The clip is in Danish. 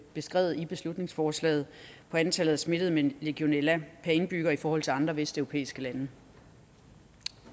beskrevet i beslutningsforslaget på antallet af smittede med legionella per indbygger i forhold til andre vesteuropæiske lande